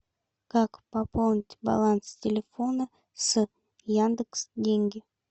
как пополнить баланс телефона с яндекс деньги